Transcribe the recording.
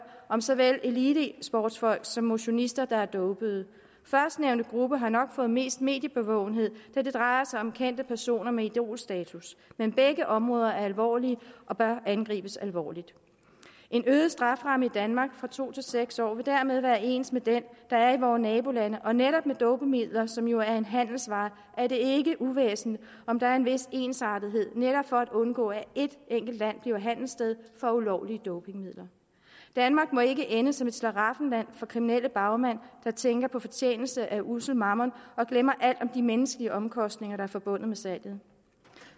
om såvel elitesportsfolk som motionister der er dopede førstnævnte gruppe har nok fået mest mediebevågenhed da det drejer sig om kendte personer med idolstatus men begge områder er alvorlige og bør angribes alvorligt en øget strafferamme i danmark fra to til seks år vil dermed være ens med den der er i vore nabolande og netop med dopingmidler som jo er en handelsvare er det ikke uvæsentligt om der er en vis ensartethed netop for at undgå at et enkelt land bliver handelssted for ulovlige dopingmidler danmark må ikke ende som et slaraffenland for kriminelle bagmænd der tænker på fortjeneste af ussel mammon og glemmer alt om de menneskelige omkostninger der er forbundet med salget